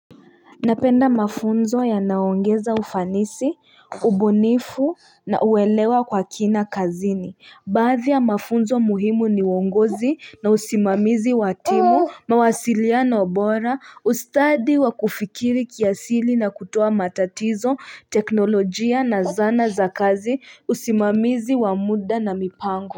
Napenda mafunzo yanayoongeza ufanisi, ubunifu na uelewa kwa kina kazini. Baadhi ya mafunzo muhimu ni uongozi na usimamizi wa timu, mawasiliano bora, ustadi wa kufikiri kiasili na kutoa matatizo, teknolojia na zana za kazi, usimamizi wa muda na mipango.